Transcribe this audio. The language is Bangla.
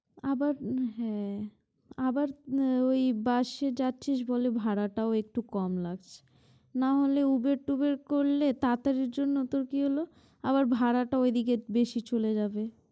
আবার হ্যাঁ আবার ওই বাসে যাচ্ছিস বলে ভাড়াটাও একটু কম লাগছে নাহলে উবের-টুবের করলে তাড়াতাড়ি জন্য তো কি হলো আবার ভাড়াটাও এদিকে বেশি চলে যাবে।